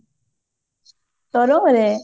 ତରଙ୍ଗ ରେ?